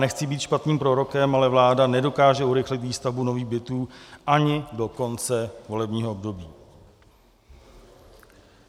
Nechci být špatným prorokem, ale vláda nedokáže urychlit výstavbu nových bytů ani do konce volebního období.